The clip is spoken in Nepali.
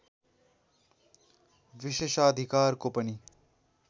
विशेषाधिकारको पनि